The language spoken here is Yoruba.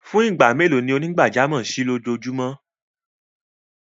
Fún igbá mẹ́lò ni onígbàjàmọ̀ ṣí ilọjóòjúmọ?